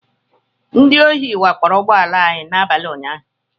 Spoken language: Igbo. Ndị ohi wakporo ụgbọ ala anyị n'abalị unyaahụ